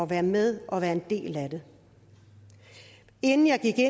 være med og være en del af det inden jeg gik